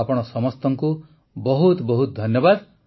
ଆପଣ ସମସ୍ତଙ୍କୁ ବହୁତ ବହୁତ ଧନ୍ୟବାଦ